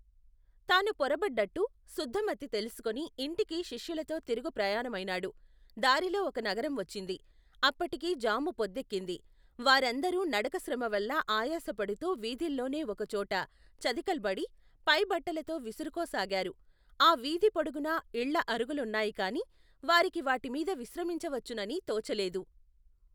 తాను పొరపడ్డట్టు శుద్దమతి తెలుసుకుని ఇంటికి శిష్యులతో తిరుగుప్రయాణమైనాడు దారిలో ఒక నగరం వచ్చింది అప్పటికి జాము పొద్దెక్కింది వారందరూ నడకశ్రమవల్ల ఆయాసపడుతూ వీధిలోనే ఒకచోట చతికెల్బడి పైబట్టలతో విసురుకోసాగారు ఆ వీధి పొడుగునా ఇళ్ళ అరుగులున్నాయికాని వారికి వాటిమీద విశ్రమించవచ్చునని తోచలేదు.